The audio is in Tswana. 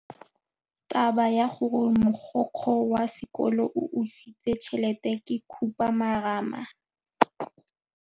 Taba ya gore mogokgo wa sekolo o utswitse tšhelete ke khupamarama.